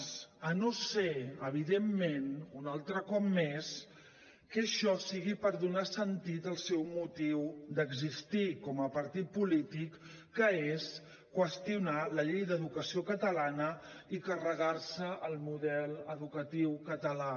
si no és evidentment un altre cop més que això sigui per donar sentit al seu motiu d’existir com a partit polític que és qüestionar la llei d’educació catalana i carregar se el model educatiu català